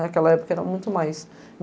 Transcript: Naquela época era muito mais.